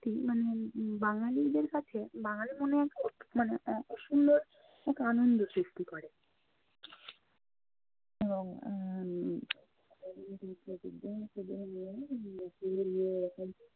মোটামুটি মানে বাঙালীদের কাছে বাঙ্গালী মনে মানে অসম্ভব এক আনন্দ সৃষ্টি করে। এবং উম এরকম